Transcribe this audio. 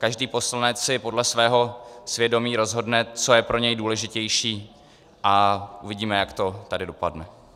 Každý poslanec si podle svého svědomí rozhodne, co je pro něj důležitější, a uvidíme, jak to tady dopadne.